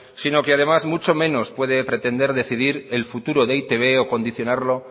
sino que además mucho menos puede pretender decidir el futuro de e i te be o condicionarlo